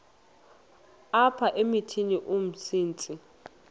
apha emithini umsintsi